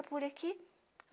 É por aqui?